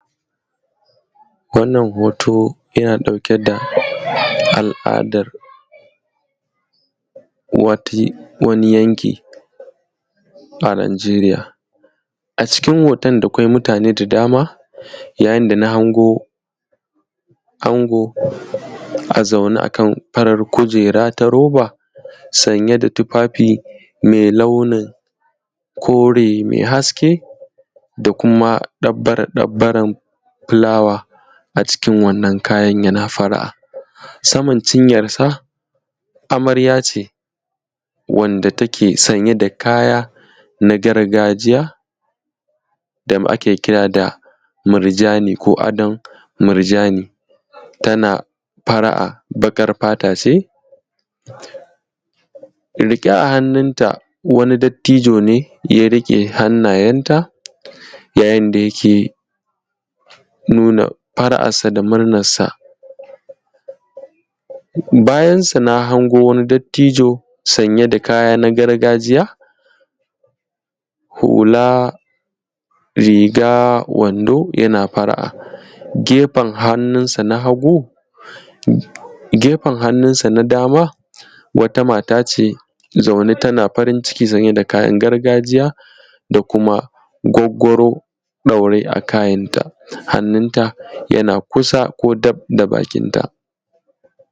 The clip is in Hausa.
wannan hoto yana ɗauke da al’adan wani yanki a najeeriya a cikin hoton da kwai mutane da dama yayin da na hango ango a zaune a kan farar kujera ta roba sanye da tufafi mai launin kore mai haske da kuma dabbare dabbaren fulawa a cikin wannan kayan yana fara’a saman cinyansa amarya ce wanda take sanye da kaya na gargajiya da ake kira da murjani ko adon murjani tana fara’a baƙar fata ce rike a hannun ta wani dattijo ne ya riƙe hannayen ta yayin da yake nuna fara’arsa da murnansa bayansu na hango wani dattijo sanye da kayan gargajiya hula riga wando yana fara’a gefen hannunsa na hagu gefen hannunsa na dama wata mata ce zaune tana farin ciki sanye da kayan gargajiya da kuma gwaggwaro ɗaure a kanta hannunta yana kusa ko daf da bakinta